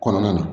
Kɔnɔna na